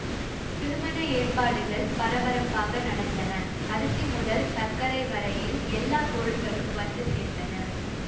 திருமண ஏற்பாடுகள் பரபரப்பாக நடந்தன அரிசி முதல் சர்க்கரை வரையில் எல்லா பொருள்களும் வந்து சேர்ந்தன